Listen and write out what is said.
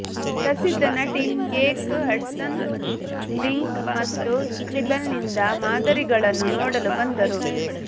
ಪ್ರಸಿದ್ಧ ನಟಿ Kate Hudson mink ಮತ್ತು ಸ್ಕ್ರಿಬಲ್ನಿಂದ ಮಾದರಿಗಳನ್ನು ನೋಡಲು ಬಂದರು